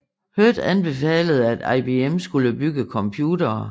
Hurd anbefalede at IBM skulle bygge computere